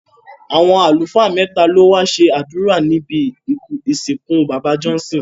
Àwọn àlùfáà mẹ́ta ló wá ṣe àdúrà níbi ìsìnkú bàbá Johnson